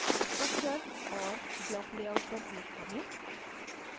structure और block layout पर click करें